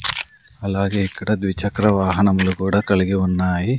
అలాగే ఇక్కడ ద్విచక్ర వాహనంలు కూడా కలిగి ఉన్నాయి.